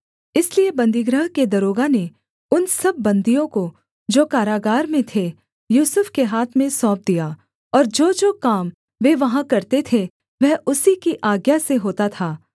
इसलिए बन्दीगृह के दरोगा ने उन सब बन्दियों को जो कारागार में थे यूसुफ के हाथ में सौंप दिया और जोजो काम वे वहाँ करते थे वह उसी की आज्ञा से होता था